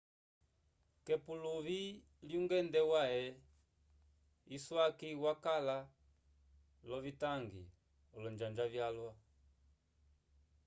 k'epuluvi lyungende wãhe iswaki wakala l'ovitangi olonjanja vyalwa